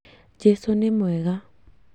Jesũ nĩ mwega